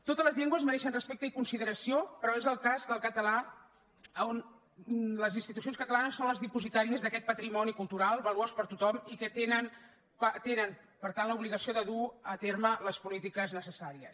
totes les llengües mereixen respecte i con sideració però és en el cas del català on les institucions catalanes són les dipositàries d’aquest patrimoni cultural valuós per a tothom i tenen per tant l’obligació de dur a terme les polítiques necessàries